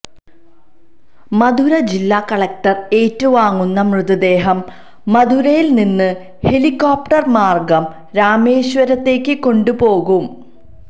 മധുര ജില്ലാകളക്ടര് ഏറ്റുവാങ്ങുന്ന മൃതദേഹം മധുരയില് നിന്ന് ഹെലികോപ്ടര്മാര്ഗം രാമേശ്വരത്തേയ്ക്ക് കൊണ്ടുപോകും